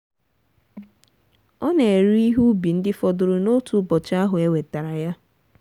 ọ na-ere ihe ubi ndị fọdụrụ n'otu ụbọchị ahụ e wetara ya.